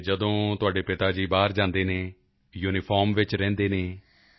ਤਾਂ ਜਦ ਤੁਹਾਡੇ ਪਿਤਾ ਜੀ ਬਾਹਰ ਜਾਂਦੇ ਹਨ ਯੂਨੀਫਾਰਮ ਵਿੱਚ ਰਹਿੰਦੇ ਹਨ